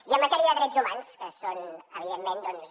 i en matèria de drets humans que són evidentment doncs